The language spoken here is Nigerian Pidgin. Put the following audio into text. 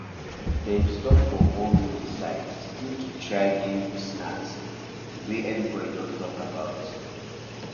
dem stop for one roadside stall to try grilled snack wey everybody dey talk about